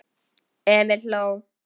Emil hló.